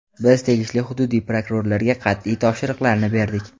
Biz tegishli hududiy prokurorlarga qat’iy topshiriqlarni berdik.